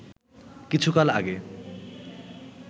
কিছুকাল আগে